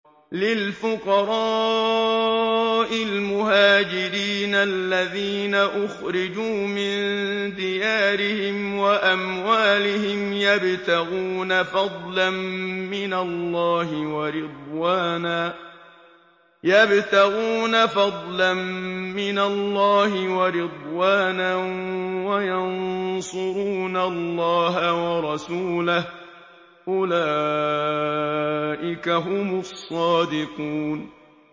لِلْفُقَرَاءِ الْمُهَاجِرِينَ الَّذِينَ أُخْرِجُوا مِن دِيَارِهِمْ وَأَمْوَالِهِمْ يَبْتَغُونَ فَضْلًا مِّنَ اللَّهِ وَرِضْوَانًا وَيَنصُرُونَ اللَّهَ وَرَسُولَهُ ۚ أُولَٰئِكَ هُمُ الصَّادِقُونَ